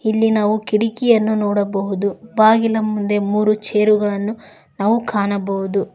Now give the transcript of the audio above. ಇಲ್ಲಿ ನಾವು ಕಿಡ್ಕಿಯನ್ನು ನೋಡಬಹುದು ಬಾಗಿಲ ಮುಂದೆ ಮೂರು ಚೇರುಗಳನ್ನು ನಾವು ಕಾಣಬಹುದು.